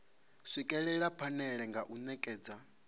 swikelela phanele nga u netshedza